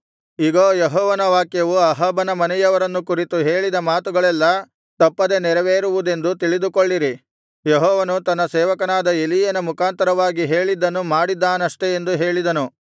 ಇಗೋ ಯೆಹೋವನ ವಾಕ್ಯವು ಅಹಾಬನ ಮನೆಯವರನ್ನು ಕುರಿತು ಹೇಳಿದ ಮಾತುಗಳೆಲ್ಲಾ ತಪ್ಪದೆ ನೆರವೇರುವುದೆಂದು ತಿಳಿದುಕೊಳ್ಳಿರಿ ಯೆಹೋವನು ತನ್ನ ಸೇವಕನಾದ ಎಲೀಯನ ಮುಖಾಂತರವಾಗಿ ಹೇಳಿದ್ದನ್ನು ಮಾಡಿದ್ದಾನಷ್ಟೇ ಎಂದು ಹೇಳಿದನು